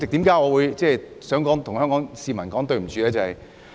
為何我想向香港市民說對不起？